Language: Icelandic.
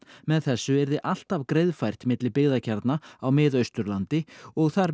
með þessu yrði alltaf greiðfært milli byggðakjarna á Mið Austurlandi og þar